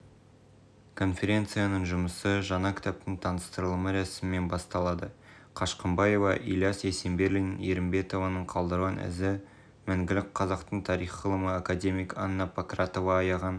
конференцияның жұмысы жаңа кітаптың таныстырылымы рәсімінен басталады қашқымбаева ілияс есенберлин ерімбетованың қалдырған ізі мәңгілік қазақтың тарих ғылымы академик анна панкратова аяған